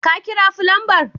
Ka kira fulanbar?